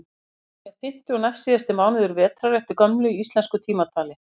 góan er fimmti og næstsíðasti mánuður vetrar eftir gömlu íslensku tímatali